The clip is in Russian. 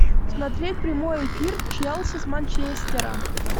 смотреть прямой эфир челси с манчестером